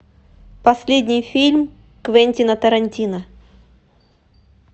последний фильм квентина тарантино